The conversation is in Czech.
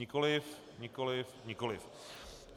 Nikoliv, nikoliv, nikoliv.